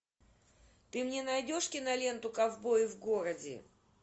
ты мне найдешь киноленту ковбои в городе